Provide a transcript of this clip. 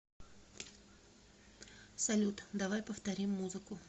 салют давай повторим музыку